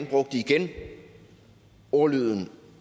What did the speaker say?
brugte igen ordlyden